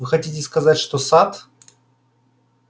вы хотите сказать что сатт